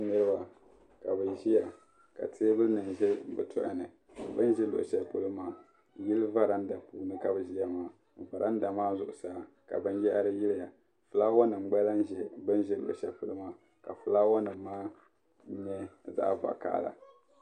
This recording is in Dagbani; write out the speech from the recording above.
Niriba ka bi ʒiya ka teebulinim ʒe bi tɔhini bin ʒe luɣushɛli polo maa yili varandani n nyeli ka varanda maa zuɣu saa ka binyara yiliya ka fulaawasinim gba lahi be bin ʒeluɣushɛli polo maa ka fulaawanim maa nye zaɣvakaɣala.